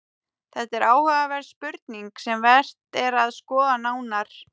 Þetta er áhugaverð spurning sem vert er að skoða nánar.